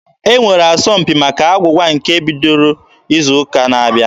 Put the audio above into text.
E nwere asọmpi maka agwụgwa nke ga-ebido izu ụka na-abịa.